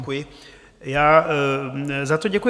Děkuji, já za to děkuji.